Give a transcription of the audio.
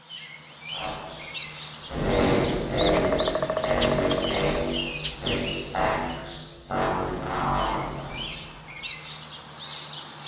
Starfsleyfið er veitt til sextán ára